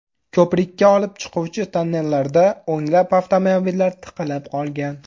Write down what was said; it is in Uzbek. Ko‘prikka olib chiquvchi tonnellarda o‘nlab avtomobillar tiqilib qolgan.